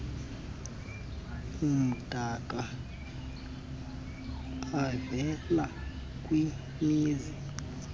amdaka avela kwimizi